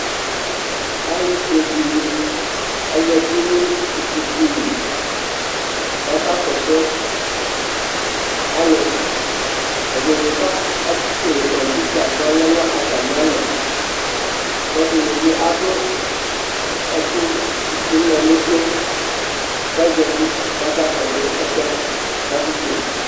alʊƒʊeɗɩnɩ azatɩnʊ ɩƙpoƙʊlɩ ƙaƙaƙɔsʊ alʊ ɩɗɩnɩ aƙeƙele ƙɔpɩta ƙɔlɛnʊ atamɩalɔ ƙɛɗɩnɩɓɩ aɗʊ ɛƙʊɗʊnɔnʊtʊ ƙazatɩ ƙaƙaƙɔsʊ ɛsɛ ƙaƙeƙele